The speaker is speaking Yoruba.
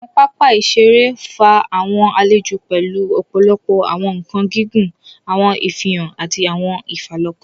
Awọn papa iṣere fa awọn alejò pẹlú ọpọlọpọ awọn nkan gígùn, awọn ifihan, ati awọn ifalọkan.